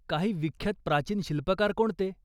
काही विख्यात प्राचीन शिल्पकार कोणते?